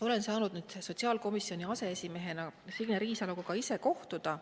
Olen sotsiaalkomisjoni aseesimehena saanud nüüd Signe Riisaloga ka ise kohtuda.